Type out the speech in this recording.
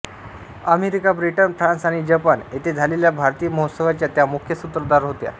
America Britain France आणि Japan येथे झालेल्या भारतीय महोत्सवाच्या त्या मुख्य सूत्रधार होत्या